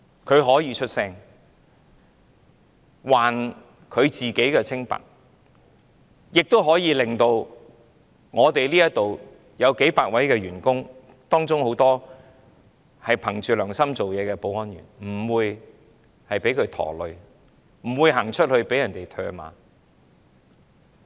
他可以發聲，還他自己清白，亦可以令這裏數百位員工，當中有很多憑着良心做事的保安員不會被他連累，不會走到街上被唾罵。